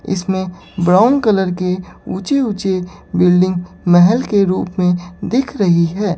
इसमें brown colour के ऊंचे ऊंचे बिल्डिंग महेल के रूप में दीख रही है।